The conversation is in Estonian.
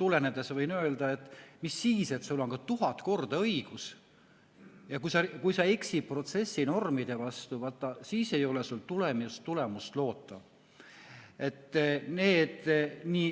tulenevalt võin öelda, et mis siis, et sul on ka tuhat korda õigus, aga kui sa eksid protsessinormide vastu, vaat siis ei ole sul tulemust loota.